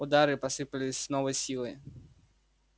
удары посыпались с новой силой